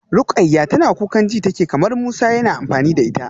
Rukayyah tana kukan ji take kamar Musa yana amfani da ita.